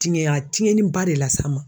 Tiŋɛ a tiɲɛniba de las'an ma.